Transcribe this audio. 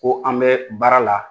Ko an bɛ baara la